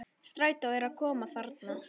Strætó er að koma þarna!